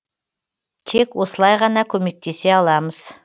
тек осылай ғана көмектесе аламыз